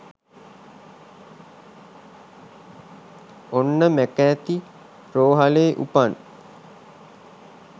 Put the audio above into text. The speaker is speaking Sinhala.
ඔන්න මැකාති රෝහලේ උපන්